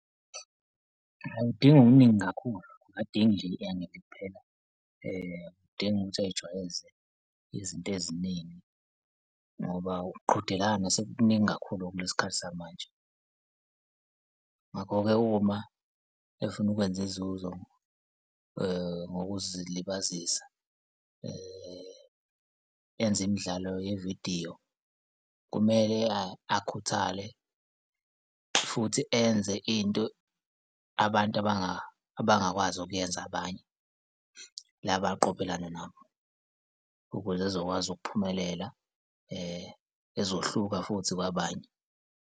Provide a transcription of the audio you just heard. Ayi, kudingi okuningi kakhulu, uyidingi nje i-engeli kuphela, kudinga ukuthi ay'jwayeze izinto eziningi ngoba ukqhudelana sekukuningi kakhulu kulesi khathi samanje. Ngakho-ke uma efuna ukwenza izuzo ngokuzilibazisa enze imidlalo yevidiyo, kumele akhuthale futhi enze into abantu abangakwazi ukuyenza abanye, la abaqophelani nabo ukuze ezokwazi ukuphumelela ezohluka futhi kwabanye.